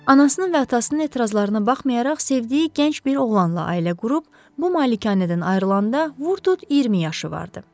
Anasının və atasının etirazlarına baxmayaraq sevdiyi gənc bir oğlanla ailə qurub, bu malikanədən ayrılanda vurdut 20 yaşı vardı.